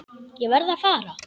Ég verð að fara.